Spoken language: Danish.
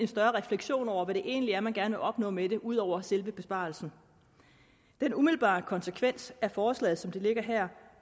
større refleksion over hvad det egentlig er man gerne vil opnå med det ud over selve besparelsen den umiddelbare konsekvens af forslaget som det ligger her